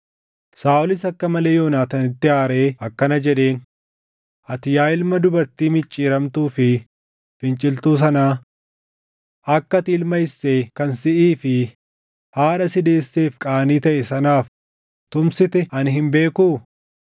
Saaʼolis akka malee Yoonaataanitti aaree akkana jedheen; “Ati yaa ilma dubartii micciiramtuu fi finciltuu sanaa! Akka ati ilma Isseey kan siʼii fi haadha si deesseef qaanii taʼe sanaaf tumsite ani hin beekuu?